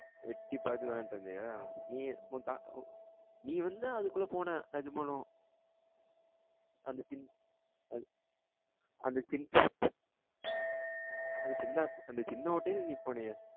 எட்டி பாத்து விளாண்டு இருந்தியா நீ ஏன் உன் தா உன் நீ வந்து அதுக்குள்ள போன நிஜமாலும் அந்த சின் அது அந்த சின் அந்த சின்ன அந்த சின்ன ஓட்டைல நீ போனியா